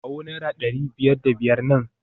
Kawo naira dari biyar da biyar nan